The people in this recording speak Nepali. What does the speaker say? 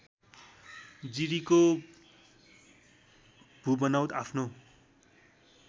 जिरीको भूबनौट आफ्नो